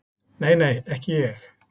Nei, nei, ekki ég.